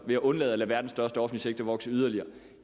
ved at undlade at lade verdens største offentlige sektor vokse yderligere